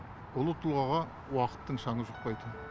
ұлы тұлғаға уақыттың шаңы жұқпайды